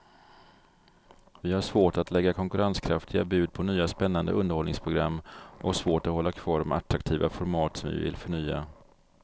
Vi har svårt att lägga konkurrenskraftiga bud på nya spännande underhållningsprogram och svårt att hålla kvar de attraktiva format som vi vill förnya.